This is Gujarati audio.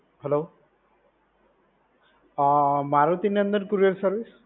હેલો આ મારુતિનંદન કુરિયર સર્વિસ?